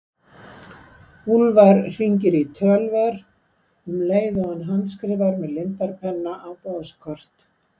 Úlfar hringir í Tölver um leið og hann handskrifar með lindarpenna á boðskort.